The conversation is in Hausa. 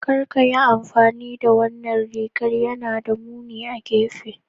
Kar ka yi amfani da wannan rigar, yana da muni a gefe